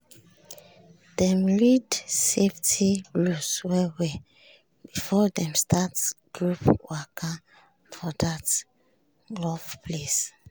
dem read safety rules well-well before dem start group waka for that rough place.